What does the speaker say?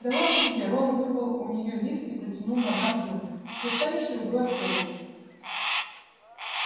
да ладно тебе рон вырвал у нее лист и протянул мадам пинс достанешь другой автограф